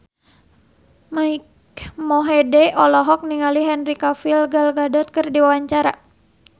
Mike Mohede olohok ningali Henry Cavill Gal Gadot keur diwawancara